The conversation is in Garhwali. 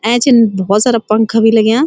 ऐंचन बहौत सारा पंखा भी लग्यां।